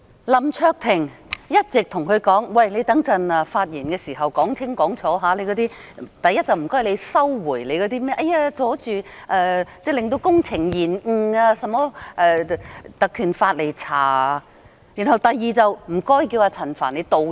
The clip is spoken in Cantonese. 林卓廷議員一直對他說，稍後發言時要說清楚：第一，請他收回指引用《立法會條例》調查將會令工程延誤的說法；第二，要求陳局長道歉。